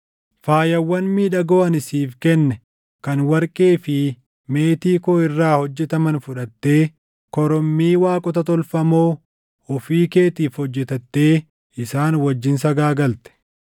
Faayawwan miidhagoo ani siif kenne kan warqee fi meetii koo irraa hojjetaman fudhattee korommii waaqota tolfamoo ofii keetiif hojjetattee isaan wajjin sagaagalte.